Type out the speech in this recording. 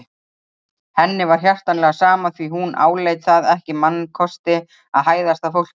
Henni var hjartanlega sama því hún áleit það ekki mannkosti að hæðast að fólki.